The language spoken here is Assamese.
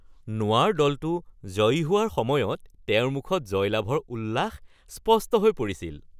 নোৱাৰ দলটো জয়ী হোৱাৰ সময়ত তেওঁৰ মুখত জয়লাভৰ উল্লাস স্পষ্ট হৈ পৰিছিল